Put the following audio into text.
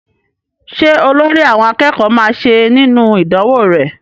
Ṣé olórí àwọn akẹ́kọ̀ọ́ máa ṣe nínú ìdánwó rẹ?